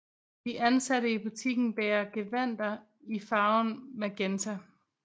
De ansatte i butikken bærer gevandter i farven magenta